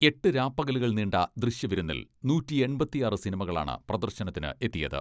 എട്ട് രാപ്പകലുകൾ നീണ്ട ദൃശ്യവിരുന്നിൽ നൂറ്റി എൺപത്തിയാറ് സിനിമകളാണ് പ്രദർശനത്തിന് എത്തിയത്.